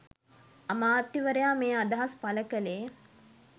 අමාත්‍යවරයා මේ අදහස් පළ කළේ